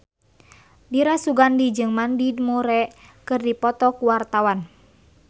Dira Sugandi jeung Mandy Moore keur dipoto ku wartawan